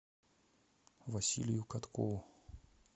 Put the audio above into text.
василию каткову